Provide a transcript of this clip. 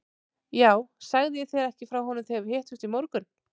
Jú, sagði ég þér ekki frá honum þegar við hittumst í morgun?